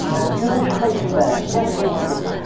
ы күйеуге шықпайсың ба жассың ғой деп